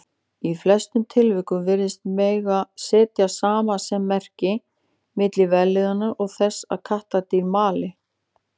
Í flestum tilvikum virðist mega setja samasemmerki milli vellíðunar og þess að kattardýr mali.